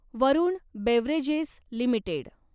Varun Beverages limited